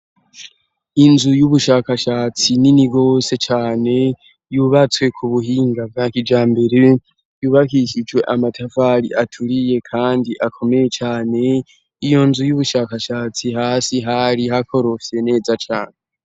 Inzu y'ubushakashatsi nini gose cane yubatswe ku buhinga beakijambere yubakishijwe amatavari aturiye kandi akomeye cane, iyo nzu y'ubushakashatsi hasi hari hakorofye neza cane.